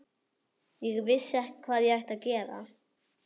Ég vissi ekki hvað ég ætti að gera.